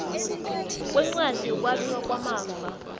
kwencwadi yokwabiwa kwamafa